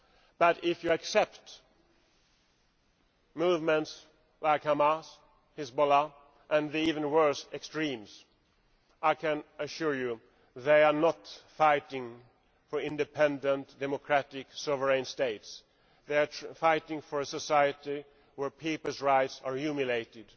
But if you accept movements like Hamas, Hezbollah and the even worse extremes, I can assure you that they are not fighting for independent, democratic sovereign states. They are fighting for a society where people's rights are humiliated.